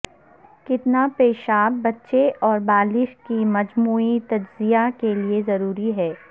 کتنا پیشاب بچے اور بالغ کی مجموعی تجزیہ کے لئے ضروری ہے